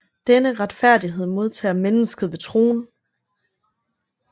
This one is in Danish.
Denne retfærdighed modtager mennesket ved troen